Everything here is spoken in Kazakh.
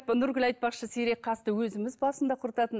нұргүл айтпақшы сирек қасты өзіміз басында құртатын